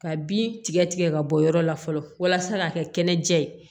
Ka bin tigɛ tigɛ ka bɔ yɔrɔ la fɔlɔ walasa ka kɛ kɛnɛjɛ ye